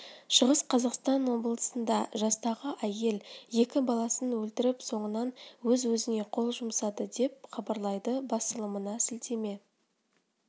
шығыс қазақстан облысында жастағы әйел екі баласын өлтіріп соңынан өз-өзіне қол жұмсады деп хабарлайды басылымына сілтеме